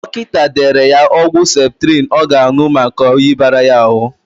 Dọkịta dere ya ọgwụ septrịn ọ ga-anụ maka oyi bara ya ahụ.